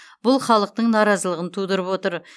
бұл халықтың наразылығын тудырып отыр